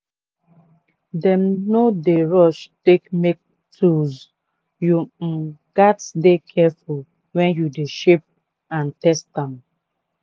dem no d rush take make tools you um gatz dey careful wen you de shape and test am.